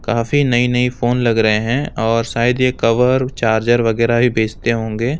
काफी नई नई फोन लग रहे हैं और शायद ये कवर चार्जर वगैरह ही बेचते होंगे।